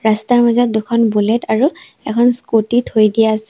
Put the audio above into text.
ৰাস্তাৰ মাজত দুখন বুলেট আৰু এখন স্কুটী থৈ দিয়া আছে।